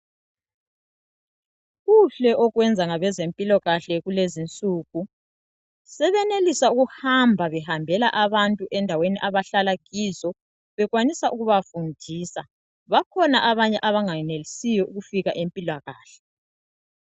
Kuhle okwenza ngabezempilakahle kulezi insuku sebenelisa ukuhamba behambela abantu endaweni abahlala kizo bekwanisa ukuba fundisa bakhona abanye abangayenelisiyo ukufika empilakahle.